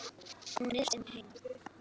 Hún ryðst inn heima.